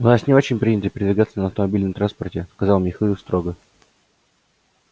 у нас не очень принято передвигаться на автомобильном транспорте сказал михаил строго